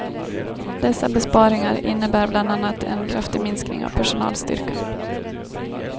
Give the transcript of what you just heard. Dessa besparingar innebär bland annat en kraftig minskning av personalstyrkan.